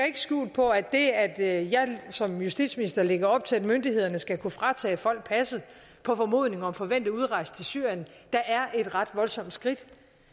ikke skjul på at det at jeg som justitsminister lægger op til at myndighederne skal kunne fratage folk passet på formodning om en forventet udrejse til syrien da er et ret voldsomt skridt